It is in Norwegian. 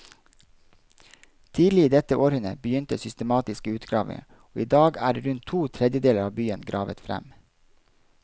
Tidlig i dette århundret begynte systematiske utgravinger, og i dag er rundt to tredjedeler av byen gravet frem.